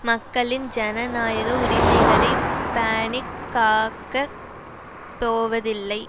மக்களின் ஜனநாயக உரிமைகளை பேணி காக்க போவதில்லை